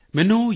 ਮੈਨੂੰ ਯੂ